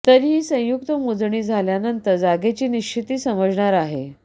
तरीही संयुक्त मोजणी झाल्यानंतर जागेची निश्चिती समजणार आहे